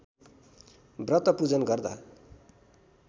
व्रतपूजन गर्दा